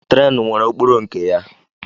Tren nwere okporo nke ya.